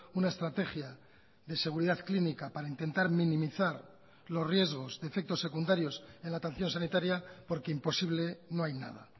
una estrategia de seguridad clínica para intentar minimizar los riesgos de efectos secundarios en la atención sanitaria porque imposible no hay nada